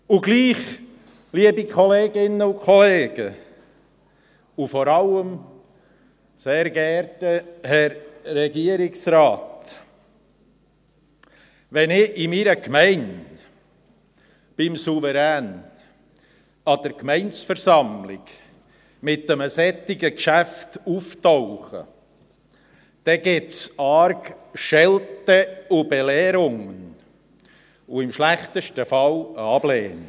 Und trotzdem, liebe Kolleginnen und Kollegen, und vor allem, sehr geehrter Herr Regierungsrat: Wenn ich in meiner Gemeinde an der Gemeindeversammlung mit einem solchen Geschäft beim Souverän auftauche, gibt es arg Schelte und Belehrungen und im schlechtesten Fall eine Ablehnung.